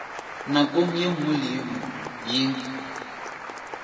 nakong ye nngwe le ye